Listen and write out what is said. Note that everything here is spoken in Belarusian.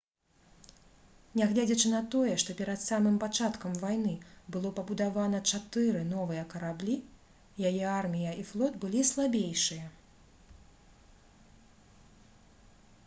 нягледзячы на тое што перад самым пачаткам вайны было пабудавана чатыры новыя караблі яе армія і флот былі слабейшыя